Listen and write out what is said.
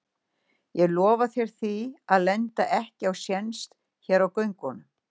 Ég lofa þér því að lenda ekki á séns hér á göngunum.